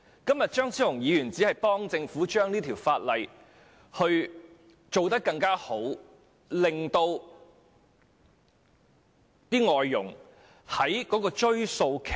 今天張超雄議員只是協助政府完善《條例草案》，在追溯期方面給予外傭多點空間。